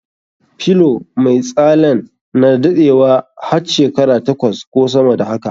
Pillow mai tsalen na daɗewa hat shekara takwas ko sama da haka.